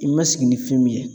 I ma sigi ni fɛn min ye.